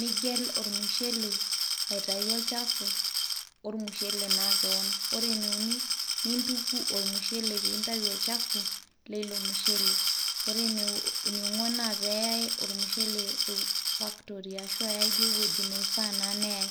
nigel ormushele aitayu olchafu ormushele naa kewon, ore ene uni nintuku ormushele piintayu olchafu leilo mushele, ore eniong'uan naa peeyai ormushele factory ashu eyai duo ewueji neifaa naa neyai.